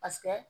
Paseke